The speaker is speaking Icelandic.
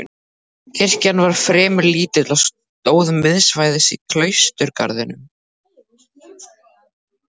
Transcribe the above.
Kirkjan var fremur lítil og stóð miðsvæðis í klausturgarðinum.